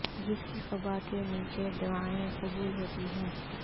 جس کی قبہ کے نیچے دعائیں قبول ہوتی ہیں